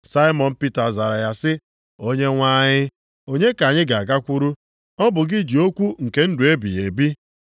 Saimọn Pita zara ya sị, “Onyenwe anyị, onye ka anyị ga-agakwuru? Ọ bụ gị ji okwu nke ndụ ebighị ebi.